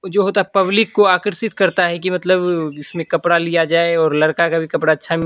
जो होता हैं पब्लिक को आकर्षित करता है कि मतलब इसमें कपड़ा लिया जाए और लड़का का भी कपड़ा अच्छा।